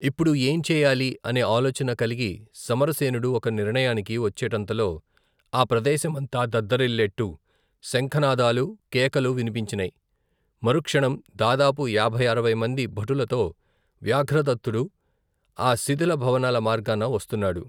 ఇప్పుడు ఏం చేయాలి అనే ఆలోచన కలిగి సమరసేనుడు ఒక నిర్ణయానికి వచ్చేటంతలో ఆ ప్రదేశమంతా దద్దరిల్లేట్టు శంఖనాదాలూ కేకలూ వినిపించినై మరుక్షణం దాదాపు యాభై అరవైమంది భటులతో వ్యాఘ్రదత్తుడు ఆ శిథిల భవనాల మార్గాన వస్తున్నాడు.